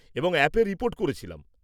এবং অ্যাপে রিপোর্ট করেছিলাম।